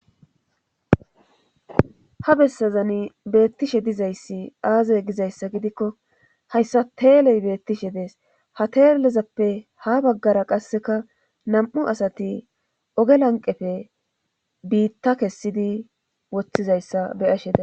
Ha bessazani beettishe dizayssi aazey gizayssa gidikko hayssa teeley beettishe dees ha teellezappe ha baggara qasseka nam'u asati oge lanqefe biitta kessidi woththizayssa be ashe daa.